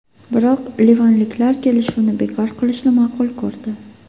Biroq livanliklar kelishuvni bekor qilishni ma’qul ko‘rdi.